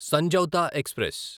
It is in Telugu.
సంజౌతా ఎక్స్ప్రెస్